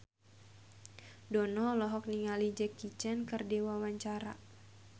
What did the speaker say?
Dono olohok ningali Jackie Chan keur diwawancara